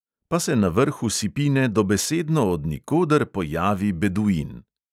Pa se na vrhu sipine dobesedno od nikoder pojavi beduin.